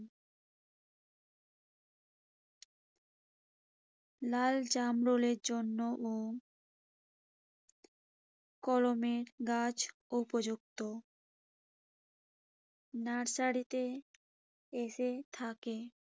লাল জামরুলের জন্যও কলমের গাছ উপযুক্ত। নার্সারিতে এসে থাকে।